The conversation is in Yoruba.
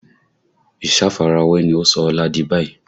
Ìsafarawé ni ó sọ Ọlá di báyìí